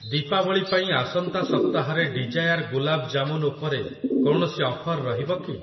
ଦୀପାବଳି ପାଇଁ ଆସନ୍ତା ସପ୍ତାହରେ ଡିଜାୟାର ଗୁଲାବ୍ ଜାମୁନ୍ ଉପରେ କୌଣସି ଅଫର୍ ରହିବ କି?